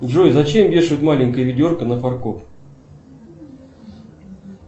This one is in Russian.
джой зачем вешают маленькое ведерко на фаркоп